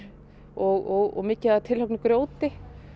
og mikið af grjóti